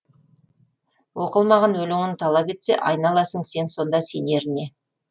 оқылмаған өлеңін талап етпе айналасың сен сонда сенеріне